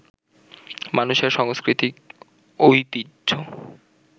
মানুষের সাংস্কৃতিক ঐতিহ্য